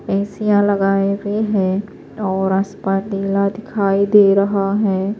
.ای سیا لگاہے ہوئے ہیں اور آسمان نیلا کھائی دے رہا ہیں